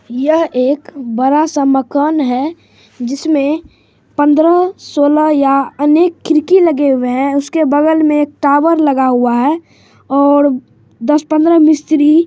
यह एक बड़ा सा मकान है जिसमें पंद्रह सोलह या अनेक खिड़की लगे हुए हैं उसके बगल में एक टावर लगा हुआ है और दस पंद्रह मिस्त्री--